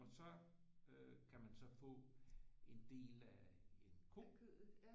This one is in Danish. Og så øh kan man så få en del af en ko